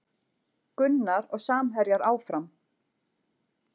Gunnar og samherjar áfram